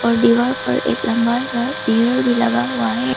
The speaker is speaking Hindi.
दीवार पर एक लंबा सा भी लगा हुआ है।